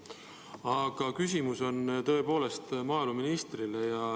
Aga küsimus on tõepoolest maaeluministrile.